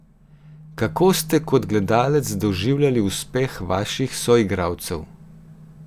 Kako ste kot gledalec doživljali uspeh vaših soigralcev?